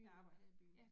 Jeg arbejder her i byen